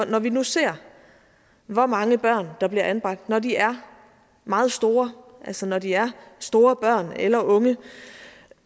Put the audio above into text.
når vi nu ser hvor mange børn der bliver anbragt når de er meget store altså når de er store børn eller unge